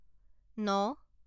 ন